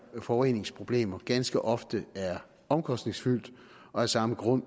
forureningsproblemer ganske ofte er omkostningsfyldt og af samme grund